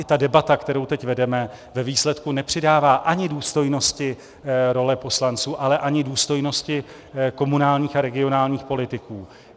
I ta debata, kterou teď vedeme, ve výsledku nepřidává ani důstojnosti roli poslanců, ale ani důstojnosti komunálním a regionálním politikům.